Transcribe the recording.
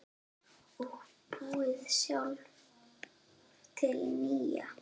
Og búið sjálf til nýja.